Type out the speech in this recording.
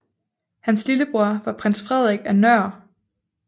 Hans lillebror var prins Frederik af Nør